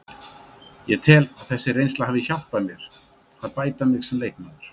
Ég tel að þessi reynsla hafi hjálpað mér að bæta mig sem leikmaður.